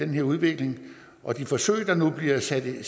her udvikling og de forsøg der nu bliver sat i